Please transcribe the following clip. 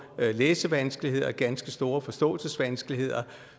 læsevanskeligheder ganske store forståelsesvanskeligheder